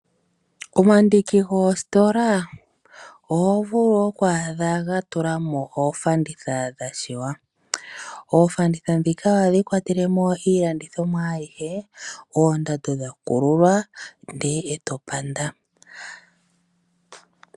Omandiki goositola oho vulu oku adha gatulamo oofanditha dhashiwa. Oofanditha dhika ohadhi kwatelemo iilandithomwa ayihe oondando dhakululwa ndele to panda.